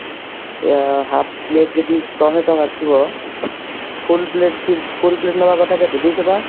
ଆ half plate ଯଦି ଶହେଟଙ୍କା ଥିବ full plate ଥି full plate ନବା କଥା କେତେ ଦୁଇଶହ ଟଙ୍କା